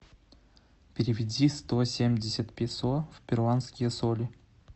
переведи сто семьдесят песо в перуанские соли